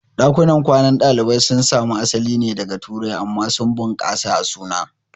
Ɗakunan kwanan ɗalibai sun samo asali daga Turai amma sun bunƙasa a suna.